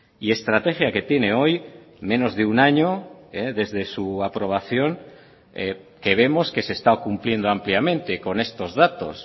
y estrategia que tiene hoy menos de un año desde su aprobación que vemos que se está cumpliendo ampliamente con estos datos